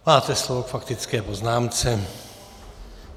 Máte slovo k faktické poznámce.